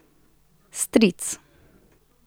Stric.